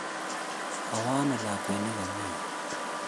Kawo ano lakwet ne kami yu?